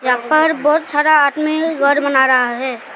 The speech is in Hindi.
यहां पर बहुत सारा आदमी घर बना रहा है।